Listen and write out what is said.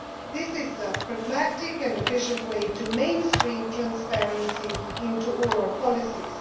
institutions. This is a pragmatic and efficient way to mainstream transparency into all